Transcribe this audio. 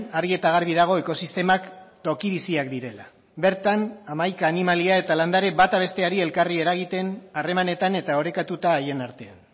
argi eta garbi dago ekosistemak toki biziak direla bertan hamaika animalia eta landare bata besteari elkarri eragiten harremanetan eta orekatuta haien artean